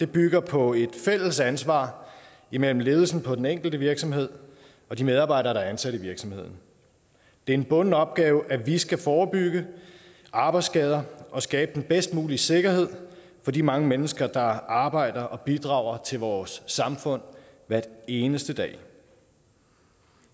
bygger på et fælles ansvar imellem ledelsen på den enkelte virksomhed og de medarbejdere der er ansat i virksomheden det er en bunden opgave at vi skal forebygge arbejdsskader og skabe den bedst mulige sikkerhed for de mange mennesker der arbejder og bidrager til vores samfund hver eneste dag